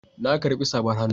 Na karbi safar hannu